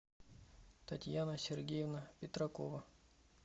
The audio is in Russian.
татьяна сергеевна петракова